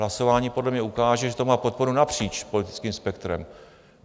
Hlasování podle mě ukáže, že to má podporu napříč politickým spektrem.